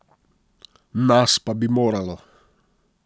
Nas pa bi moralo.